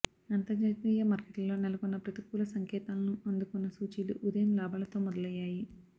అంతర్జాతీయ మార్కెట్లలో నెలకొన్న ప్రతికూల సంకేతాలను అందుకున్న సూచీలు ఉదయం లాభాలతో మొదలయ్యాయి